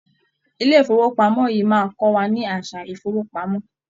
Ilé ifowopamọ yìí máa n kọ wà ní àsà ifowopamọ.